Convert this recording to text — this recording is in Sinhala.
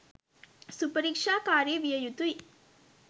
සුපරික්ෂාකාරි විය යුතුයි.